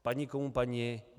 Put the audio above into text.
Padni komu padni.